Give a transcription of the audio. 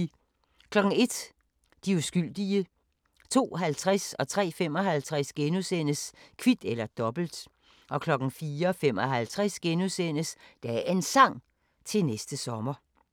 01:00: De uskyldige 02:50: Kvit eller Dobbelt * 03:55: Kvit eller Dobbelt * 04:55: Dagens Sang: Til næste sommer *